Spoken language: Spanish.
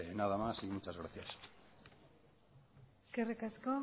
nada más y muchas gracias eskerrik asko